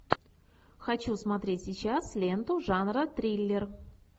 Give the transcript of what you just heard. хочу смотреть сейчас ленту жанра триллер